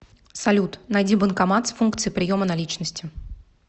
салют найди банкомат с функцией приема наличности